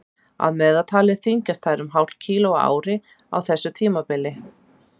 að meðaltali þyngjast þær um hálft kíló á ári á þessu tímabili